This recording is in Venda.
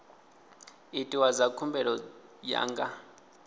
itiwa dza khumbelo ya nga